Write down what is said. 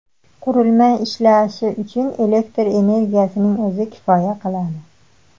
Qurilma ishlashi uchun elektr energiyasining o‘zi kifoya qiladi.